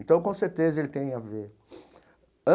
Então, com certeza, ele tem a ver.